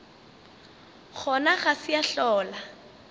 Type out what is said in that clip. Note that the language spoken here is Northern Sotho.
gona ga se ya hlola